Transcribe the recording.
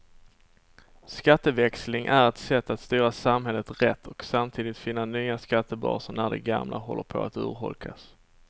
Skatteväxling är ett sätt att styra samhället rätt och samtidigt finna nya skattebaser när de gamla håller på att urholkas.